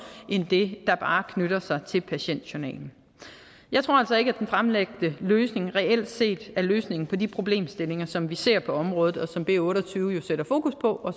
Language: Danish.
end det der bare knytter sig til patientjournalen jeg tror altså ikke at den fremlagte løsning reelt set er løsningen på de problemstillinger som vi ser på området og som b otte og tyve jo sætter fokus på